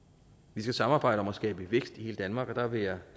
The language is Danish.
vi skal samarbejde om at skabe vækst i hele danmark og der vil jeg